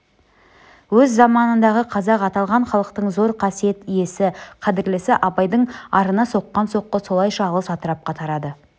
өз заманындағы қазақ аталған халықтың зор қасиет иесі қадірлісі абайдың арына соққан соққы солайша алыс атырапқа тарады